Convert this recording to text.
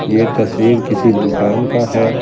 ये तस्वीर किसी दुकान का है ।